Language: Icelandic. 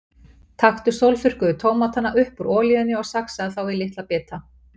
Taktu sólþurrkuðu tómatana upp úr olíunni og saxaðu þá í litla bita.